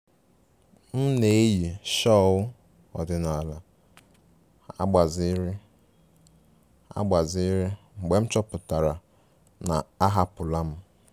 M na-eyi shawl ọdịnala agbaziri agbaziri mgbe m chọpụtara na a hapụla m